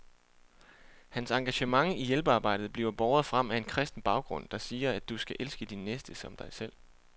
Hans engagement i hjælpearbejdet bliver båret frem af en kristen baggrund, der siger, at du skal elske din næste som dig selv.